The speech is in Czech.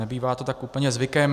Nebývá to tak úplně zvykem.